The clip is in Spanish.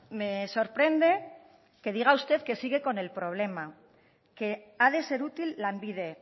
me sorprende que diga usted que sigue con el problema que ha de ser útil lanbide